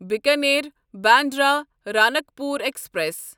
Bikaner Bandra Ranakpur express